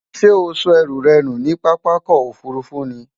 Sé o so ęrù rę nù ní pápákò òfurufú ni?